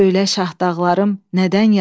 Söylə Şahdağlarım nədən yaslıdır?